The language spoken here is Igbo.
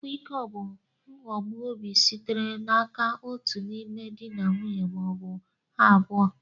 Ịkwa iko bụ nhogbu obi sitere n'aka otu n'ime di na nwunye ma ọ bụ ha abụọ.